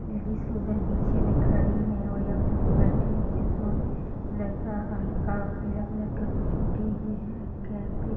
ladies उधर पीछे में खड़ी हैं और यहाँ पर जो बैठे हुए हैं जेंट्स लोग लड़का हरका और पीला कलर का कुछ ओढ़े हुए हैं अ कैप है |